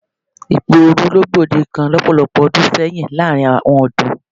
Ìpè òru ló gbòdekan lọ́pọ̀lọpọ̀ ọdún sẹ́yìn láàrin àwọn ọ̀dọ́.